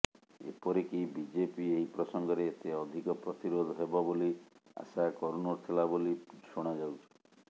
ଏପରିକି ବିଜେପି ଏହି ପ୍ରସଙ୍ଗରେ ଏତେ ଅଧିକ ପ୍ରତିରୋଧ ହେବ ବୋଲି ଆଶା କରୁନଥିଲା ବୋଲି ଶୁଣାଯାଉଛି